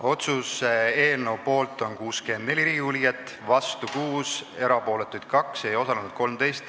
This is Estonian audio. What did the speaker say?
Otsuse eelnõu poolt on 64 Riigikogu liiget, vastu 6, erapooletuid 2, ei osalenud 13.